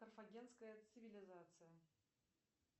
карфагенская цивилизация